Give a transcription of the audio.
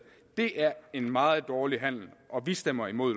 det er en meget dårlig handel og vi stemmer imod